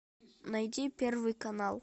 найди первый канал